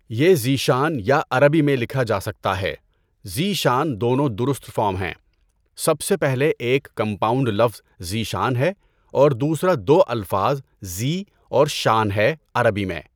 یہ ذیشان یا عربی میں لکھا جا سکتا ہے ذی شان دونوں درست فارم ہیں، سب سے پہلے ایک کمپاؤنڈ لفظ ذیشان ہے اور دوسرا دو الفاظ زی اور شان ہے عربی میں۔